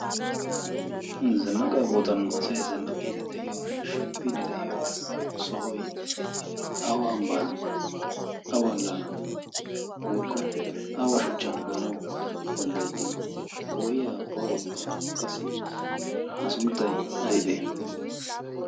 zannaqaa boottan asay zannaqiidi de'iyoonne shemppiini de'iyo sohoy awa ambban awaalaanan woikko awa shuchchan agaanau danddayetti poo'iya poo'oykka qassi ha sunttay aybee?